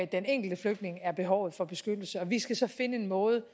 den enkelte flygtning er behovet for beskyttelse og vi skal så finde en måde